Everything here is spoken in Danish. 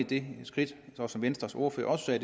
det skridt som venstres ordfører også